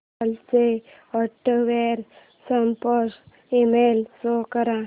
del चा hardware support email show कर